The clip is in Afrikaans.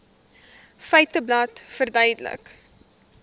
feiteblad verduidelik